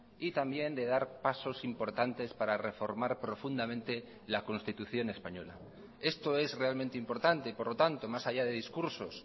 y también de dar pasos importantes para reformar profundamente la constitución española esto es realmente importante por lo tanto más allá de discursos